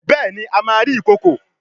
Béèni a má rí ikọkọ.